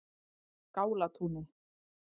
Skálatúni